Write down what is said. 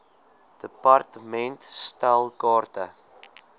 department stel kaarte